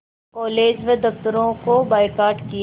college व दफ़्तरों का बायकॉट किया